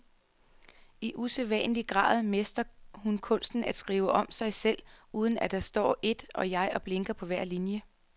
I usædvanlig grad mestrer hun kunsten at skrive om sig selv, uden at der står et jeg og blinker på hver linie.